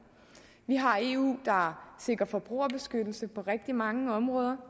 vi har et eu der sikrer forbrugerbeskyttelse på rigtig mange områder